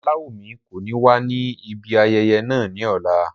Olawumi ko ni wa ni ibi ayẹyẹ naa ni ọla.